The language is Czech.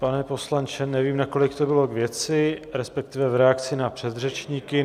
Pane poslanče, nevím, nakolik to bylo k věci, respektive v reakci na předřečníky.